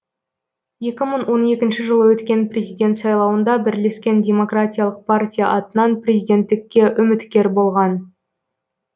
екі мың он екінші жылы өткен президент сайлауында бірлескен демократиялық партия атынан президенттікке үміткер болған